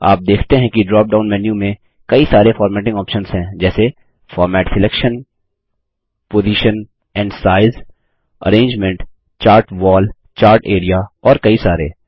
आप देखते हैं कि ड्रॉप डाउन मेन्यू में कई सरे फॉर्मेटिंग ऑप्शन्स हैं जैसे format selection position and size arrangement chart wall chart A R E A और कई सारे